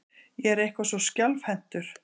Ég er eitthvað svo skjálfhentur.